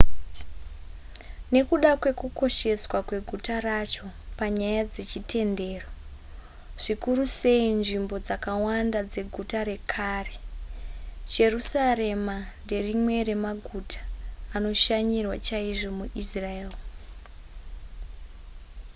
nekuda kwekukosheswa kweguta racho panyaya dzechitendero zvikuru sei nzvimbo dzakawanda dzeguta rekare jerusarema nderimwe remaguta anoshanyirwa chaizvo muisrael